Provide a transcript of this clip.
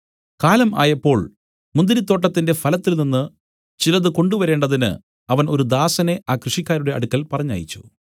കാലം ആയപ്പോൾ മുന്തിരിത്തോട്ടത്തിന്റെ ഫലത്തിൽനിന്ന് ചിലത് കൊണ്ടുവരേണ്ടതിന് അവൻ ഒരു ദാസനെ ആ കൃഷിക്കാരുടെ അടുക്കൽ പറഞ്ഞയച്ചു